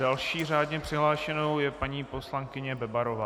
Další řádně přihlášenou je paní poslankyně Bebarová.